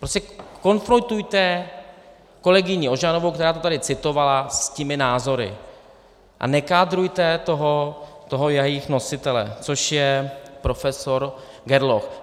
Prostě konfrontujte kolegyni Ožanovou, která to tady citovala, s těmi názory a nekádrujte toho jejich nositele, což je profesor Gerloch.